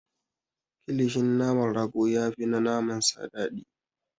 Kilishin naman rago ya fi na naman sa dadii.